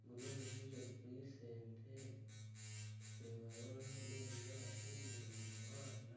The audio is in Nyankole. Ogu n'omushaija arikuriisa ente ndikureeba hariho n'ebinyaatsi ziri omu muhanda